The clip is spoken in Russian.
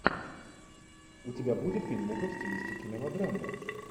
у тебя будет фильмуха в стилистике мелодрамы